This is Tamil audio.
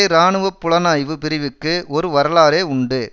இராணுவ புலனாய்வு பிரிவுக்கு ஒரு வரலாறே உண்டு